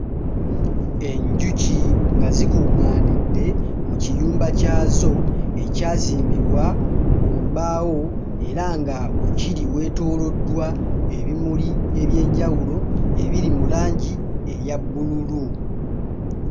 Enjuki nga zikuŋŋaanidde mu kiyumba kyazo ekyazimbibwa mu mbaawo era nga wekiri weetooloddwa ebimuli eby'enjawulo ebiri mu langi eya bbululu.